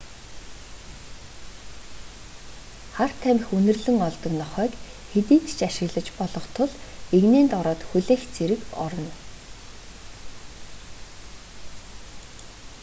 хар тамхи үнэрлэн олдог нохойг хэдийд ч ашиглаж болох тул эгнээнд ороод хүлээх зэрэг орно